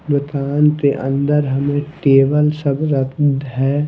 दुकान के अंदर हमें टेबल सब रख है।